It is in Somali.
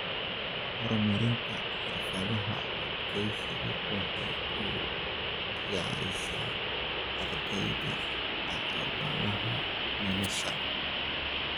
Horumarinta xirfadaha adkeysiga waxay u diyaarisaa ardayda caqabadaha nolosha.